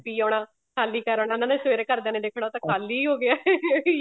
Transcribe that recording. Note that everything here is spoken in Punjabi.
ਪੀ ਆਉਣਾ ਖਾਲੀ ਕਰ ਆਨਾ ਉਹਨਾ ਨੇ ਸਵੇਰੇ ਘਰਦਿਆਂ ਨੇ ਦੇਖਣਾ ਉਹ ਤਾਂ ਖਾਲੀ ਹੋ ਗਿਆ